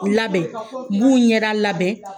U labɛn, n b'u ɲɛda labɛn.